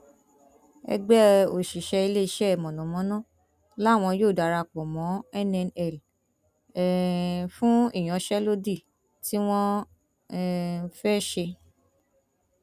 ẹgbẹ òṣìṣẹ iléeṣẹ mọnàmọná làwọn yóò darapọ mọ nnl um fún ìyanṣẹlódì tí wọn um fẹẹ ṣe